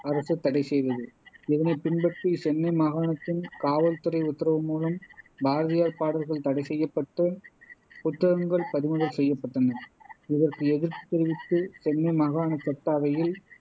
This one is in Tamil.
அரசு தடைசெய்தது இதனைப் பின்பற்றி சென்னை மாகாணத்தின் காவல் துறை உத்தரவுமூலம் பாரதியார் பாடல்கள் தடைசெய்யப்பட்டு புத்தகங்கள் பறிமுதல் செய்யப்பட்டன இதற்கு எதிர்ப்பு தெரிவித்து சென்னை மாகாணச் சட்ட அவையில்